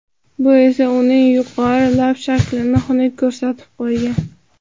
Bu esa uning yuqori lab shaklini xunuk ko‘rsatib qo‘ygan.